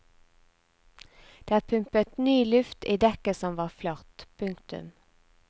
Det er pumpet ny luft i dekket som var flatt. punktum